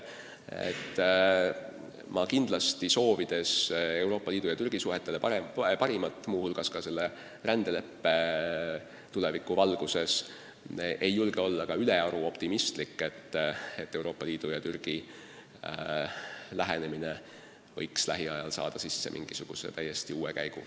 Ma küll soovin Euroopa Liidu ja Türgi suhetele parimat, muu hulgas ka rändeleppe tuleviku valguses, aga ma ei julge olla ülearu optimistlik, et Euroopa Liidu ja Türgi lähenemine võiks lähiajal saada sisse mingisuguse täiesti uue käigu.